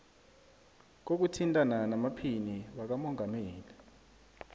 kokuthintana namaphini wakamongameli